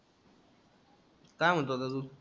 काय म्हणतो आता तू?